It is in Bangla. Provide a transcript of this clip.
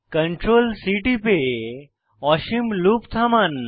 Ctrl C টিপে অসীম লুপ থামান